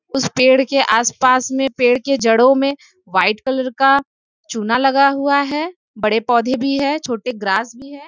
उस पेड़ के आस पास में पेड़ के जड़ो में वाइट कलर का चुना लगा हुआ है। बड़े पौधे भी है। छोटे ग्रास भी है।